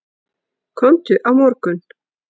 Komdu á morgun.